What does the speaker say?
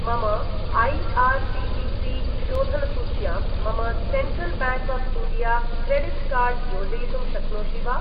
मम ऐ.आर्.सी.टी.सी.शोधनसूच्यां मम Central Bank of India credit card योजयितुं शक्नोषि वा?